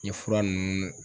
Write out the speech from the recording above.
N ye fura nunnu